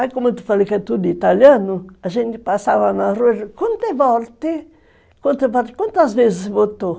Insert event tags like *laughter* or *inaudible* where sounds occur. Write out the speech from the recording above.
Aí, como tu falou que é tudo italiano, a gente passava na rua e dizia, *unintelligible* quantas vezes votou?